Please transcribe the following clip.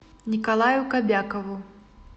николаю кобякову